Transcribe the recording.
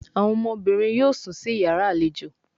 Àwọn ọmọbìnrin yóò sún sí iyàrá àlejò